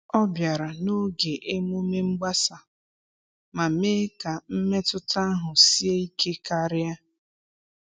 Ọ bịara n’oge emume mgbasa, ma mee ka mmetụta ahụ sie ike karịa.